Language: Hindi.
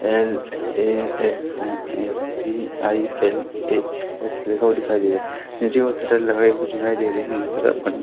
एल_ए_एक्स_एम_ए_व्ही_आई_एल_ए ऐसा लिखा हुआ दिखाई दे रहा है। नीचे वो शटर लगाई हुई दिखाई दे रही है जिस तरह बंद--